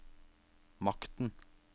makten